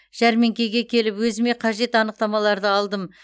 жәрмеңкеге келіп өзіме қажет анықтамаларды алдым